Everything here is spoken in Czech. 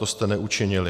To jste neučinili.